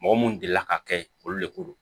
Mɔgɔ mun delila ka kɛ yen olu de ko don